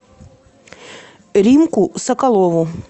римку соколову